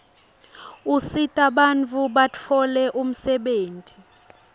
usita bantfu batfoce umsebeit